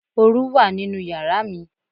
Oru wà nínú yàrá mi.